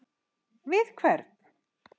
Við hvern?